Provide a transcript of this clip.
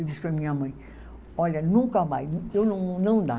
Eu disse para a minha mãe, olha, nunca mais, eu não, não dá.